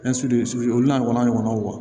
olu n'a ɲɔgɔnnaw ɲɔgɔnw